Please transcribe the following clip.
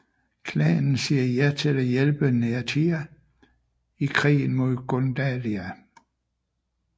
Klanen siger ja til at hjælpe Neathia i krigen mod Gundalia